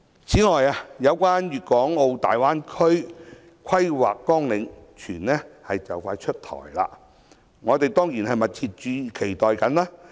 此外，有關粵港澳大灣區規劃綱領，有傳快將出台，我們當然密切期待。